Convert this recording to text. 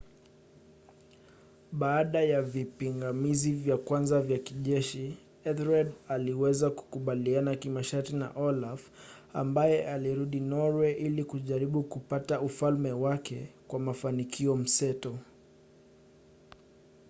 baada ya vipingamizi vya kwanza vya kijeshi ethelred aliweza kukubaliana kimasharti na olaf ambaye alirudi norwe ili kujaribu kupata ufalme wake kwa mafanikio mseto